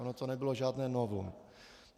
Ono to nebylo žádné novum.